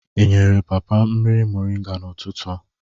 E nyere papa mmiri moringa n'ụtụtụ a?